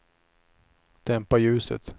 dämpa ljuset